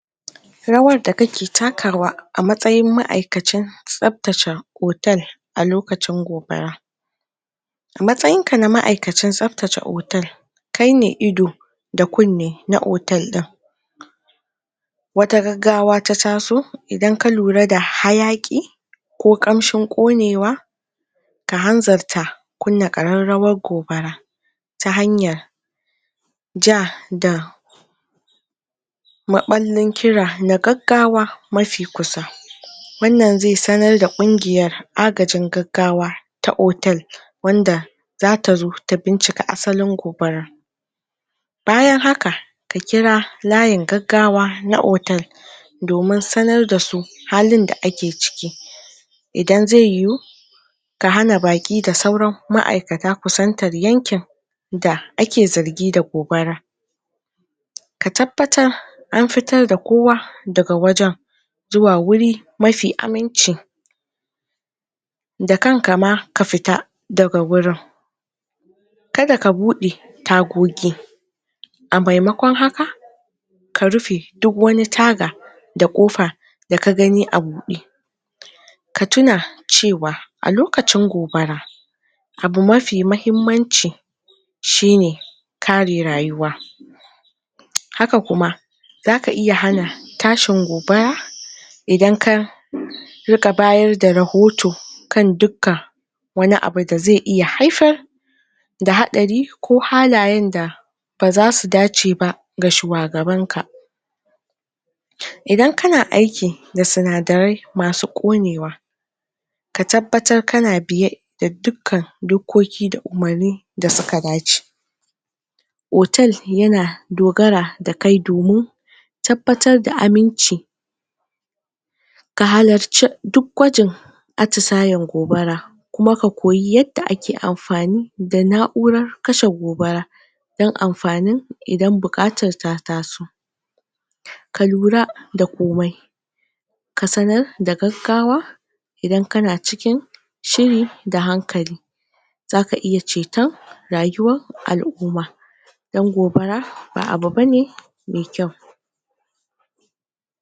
Rawar da kake takawa a matsayin ma'aikacin tsabtacha hotel a lokacin gobara a matsayin ka a ma'aikacin tsabtata hotel kai ne ido da kune na hotel din. Wata gaggawa ta taso, idan ka lura da hayaki ko kamshin konewa, ka hanzarta kunna kararrawar gobara ta hanyar ja da maballin kira na gaggawa mafi kusa, Wannan zai sanar da kungiyar agajin gaggawa ta hotel wanda zata zo ta bincike asalin gobara. Bayan haka, ka kira layin gaggawa na hotel domin sanar da su halin da ake ciki, idan ze yuhu ka hana baki da sauran ma'aikata ku yanken da ake zargi da gobara. Ka tabbatar an fitar da kowa, daga wajen zuwa wuri mafi aminci da kanka ma ka fita daga wurin ka daka bude takoki a maimakon haka, ka rufe duk wane taga da kofa da ka gani a bude. Ka tuna cewa a lokacin gobara, abu mafi mahimmanci shi ne kare rayuwa haka kuma, za ka iya hana tashin gobara idan ka riga bayar da rohoto, kan dukka wani abu da ze iya haifar da hadari ko halayen da baza su dace ba ga shuwagaban ka. Idan kana aiki da sunadarai masu konewa, ka tabbatar kana biye, da duka dokoki da umarni da suka dace. Hotel yana dogara da kai domin tabbatar da aminci ka halarce duk gwajin atusayan gobara kuma ka koyi yadda ake amfani da na'ura kashe gobara don amfanin idan bukata ta taso. ka lura da komai, ka sanar da gaggawa, idan kana cikin shiri da hankali zaka iya ceton rayuwan al'umma. Don gobara ba abu bane mai kyau